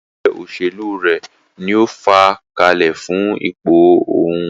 Ẹgbẹ́ òṣèlú rẹ̀ ní o fàá kalẹ̀ fún ipò òhún.